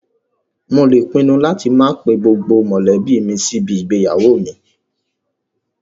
Mo lè pinnu láti máa pe gbogbo mọ̀lẹ́bí mi sí ibi igbéyàwó mi